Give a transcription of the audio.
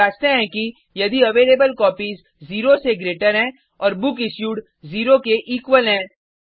हम जांचते हैं कि यदि अवेलेबलकोपीज 0 से ग्रेटर हैं और बुकिश्यूड 0 के इक्वल हैं